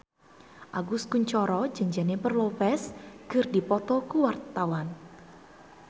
Agus Kuncoro jeung Jennifer Lopez keur dipoto ku wartawan